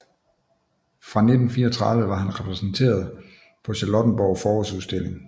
Fra 1934 var han repræsenteret på Charlottenborg Forårsudstilling